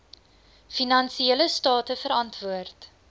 finansiële state verantwoord